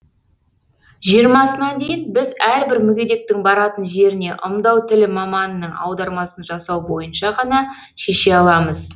жиырмасына дейін біз әрбір мүгедектің баратын жеріне ымдау тілі маманының аудармасын жасау бойынша ғана шеше аламыз